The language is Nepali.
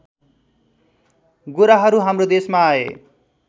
गोराहरू हाम्रो देशमा आए